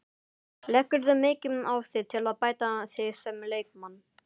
Leggurðu mikið á þig til að bæta þig sem leikmann?